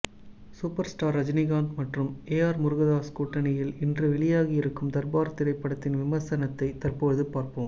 super star Rajinikanth மற்றும் ஏஆர் முருகதாஸ் கூட்டணியில் இன்று வெளியாகி இருக்கும் தர்பார் திரைப்படத்தின் விமர்சனத்தை தற்போது பார்ப்போம்